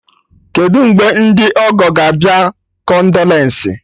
Kedụ mgbe ndị ọgọ ga abịa-kondolensị?